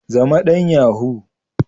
Zama dan yahoo.